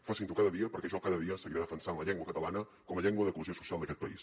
facin ho cada dia perquè jo cada dia seguiré defensant la llengua catalana com a llengua de cohesió social d’aquest país